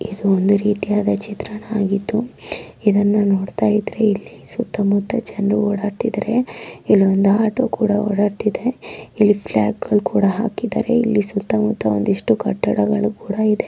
ಇದು ಒಂದು ರೀತಿಯ ಚಿತ್ರನ ಆಗ್ಗಿದ್ದು ಇಲ್ಲಿ ನೀವ್ ನೋಡಿತಾಇದ್ರೆ ಇಲ್ಲಿ ಸುತ್ತ ಮುತ್ತ ಜನರು ಓಡಾಡಿತಾಇದ್ದಾರೆ ಇಲ್ಲಿ ಒಂದು ಅಟೋ ಕೂಡ ಓಡಾಡ್ತಾ ಇದೆ ಇಲ್ಲಿ ಫ್ಲಾಗ್ ಗಳು ಕೂಡ ಹಾಕಿದ್ದಾರ ಇಲ್ಲಿ ಸುತ್ತ ಮುತ್ತ ಒಂದಿಷ್ಟು ಕಟ್ಟಡಗಳು ಕೂಡ ಇದ.